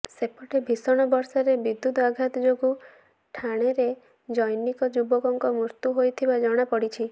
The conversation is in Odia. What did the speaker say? ସେପଟେ ଭିଷଣ ବର୍ଷାରେ ବିଦ୍ୟୁତ ଆଘାତ ଯୋଗୁ ଠାଣେରେ ଜନୈକ ଯୁବକଙ୍କ ମୃତ୍ୟୁ ହୋଇଥିବା ଜଣାପଡିଛି